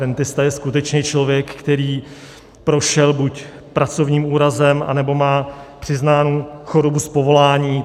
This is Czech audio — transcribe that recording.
Rentista je skutečně člověk, který prošel buď pracovním úrazem, anebo má přiznánu chorobu z povolání.